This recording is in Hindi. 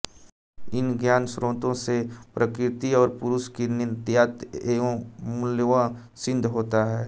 इन ज्ञानस्रोतों से प्रकृति और पुरुष की नित्यता एवं मूलत्व सिद्ध होता है